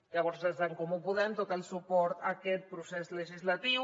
llavors des d’en comú podem tot el suport a aquest procés legislatiu